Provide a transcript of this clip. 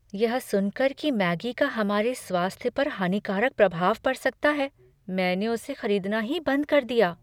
यह सुनकर कि मैगी का हमारे स्वास्थ्य पर हानिकारक प्रभाव पड़ सकता है, मैंने उसे खरीदना ही बंद कर दिया।